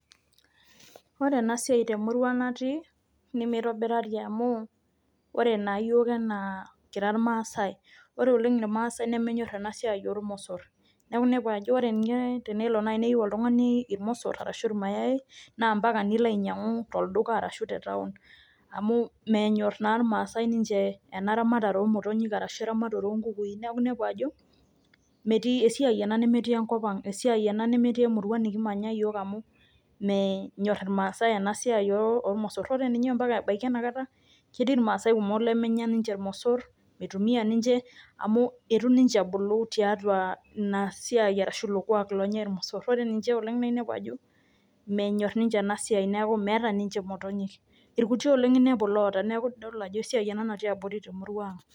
Ore ena siai temurua natii meitobirari amuu ore naa yiok naa kira Irmaasai, ore oleng Irmaasai naa menyor oleng ena siai oo ilmosorr neeku inepu ajo ore ninye tenelo naaji neyieu oltungani ilmosor arashu ninye ilmayai na mpaka pee ilo ainyangu tolduka arashu te taon amu menyorr naa ninche Ilmaasai ena ramatare oo motonyik aashu eramate oo nkukui neeku inepu ajo esia ena nemetii enkop ang, esiai ena nemetii emurua nikimanya amu menyorr Ilmaasai ena siai oolmosorr, ore ninye mpaka ebaiki ena kata ketii ilmaasai kumok lemenya nimje ilmosorr, meitumiya ninche amu eitu ninche ebulu tiatua ina siai aashu ilo kuak onyai ilmosorr, ore ninche oleng naa inepu ajo menyorr ninche ena siai neeku meeta ninche imotonyik, ilkuti oleng inepu loota neeku esiai ena natii abori oleng temurua ang.